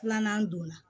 Filanan donna